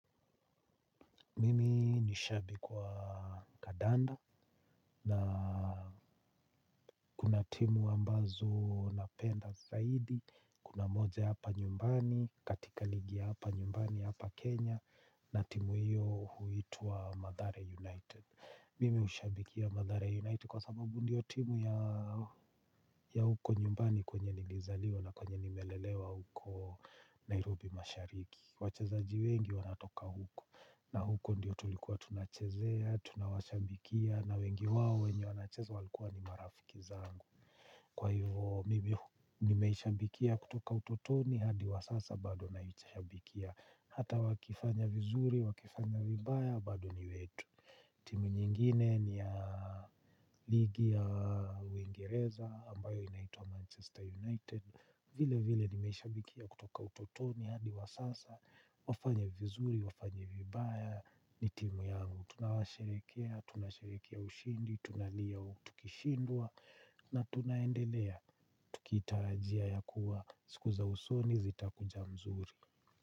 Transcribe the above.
Mimi ni shabiki wa kandadnda na timu ambazo napenda zaidi kuna moja hapa nyumbani katika ligi ya hapa nyumbani hapa Kenya na timu hiyo huitwa Mathale United. Mimi hushabikia Madhari United kwa sababu ndio timu ya huko nyumbani kwenye nilizaliwa na kwenye nimelelewa huko Nairobi mashariki. Wachezaji wengi wanatoka huko na huko ndiyo tulikuwa tunachezea, tunawashabikia na wengi wao wenye wanacheza walikuwa ni marafiki zangu. Kwa hivo mimi nimeishabikia kutoka utotoni hadi wasasa bado naishabikia. Hata wakifanya vizuri, wakifanya vibaya bado ni wetu. Timu nyingine ni ya ligi ya uingereza ambayo inaitwa Manchester United. Vile vile nimesha bikia kutoka utotoni hadi wa sasa wafanye vizuri, wafanye vibaya ni timu yangu. Tunawasherekea, tunasherekea ushindi, tunalia tukishindwa. Na tunaendelea, tukitarajia ya kuwa siku za usoni zitakuja mzuri.